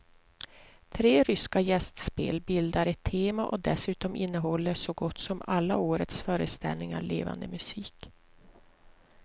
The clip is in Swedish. Tre ryska gästspel bildar ett tema och dessutom innehåller så gott som alla årets föreställningar levande musik.